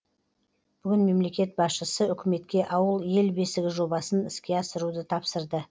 бүгін мемлекет басшысы үкіметке ауыл ел бесігі жобасын іске асыруды тапсырды